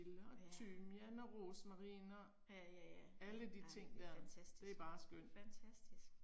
Ja. Ja ja ja. Ej fantastisk, fantastisk